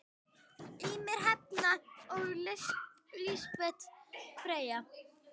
Ýmir, Hrefna og Lísbet Freyja.